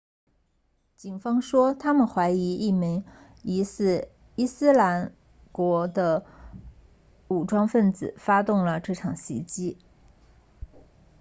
警方说他们怀疑一名疑似伊斯兰国 isil 的武装分子发动了这场袭击